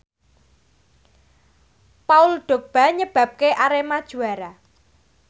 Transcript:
Paul Dogba nyebabke Arema juara